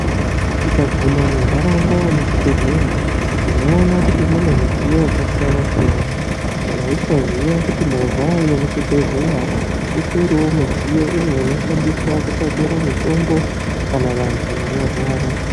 Tikaguma muntaraunda yemuzvibhedhlera tinoona kuti mune midziyo yakasiyana-siyana. Ndaisaziya kuti movha yekuchibhedhleya utoriwo mudziyo umwe unoshandiswa kutakura mitombo, kana vantu vanorwara.